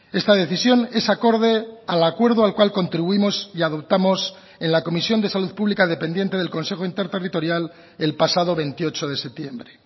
esta decisión es acorde al acuerdo al cual contribuimos y adoptamos en la comisión de salud pública dependiente del consejo interterritorial el pasado veintiocho de septiembre